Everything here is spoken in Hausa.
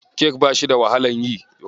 Kek bashi da wahalan yi.